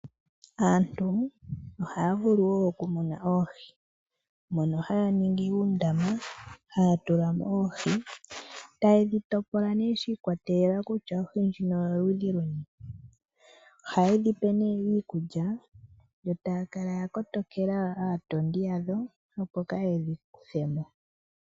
Aantu ohaya vulu okumuna oohi mono haya ningi uundama haya tula mo oohi tayedhi topola shikwatelela kutya ohi ndjino oyo ludhi luni. Ohayedhi pe iikulya yo taya kala ya kotokela aatondi yadho opo kayedhi kuthe mo.